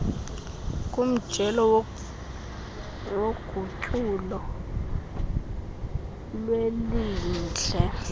kumjelo wogutyulo lwelindle